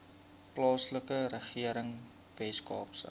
plaaslike regering weskaapse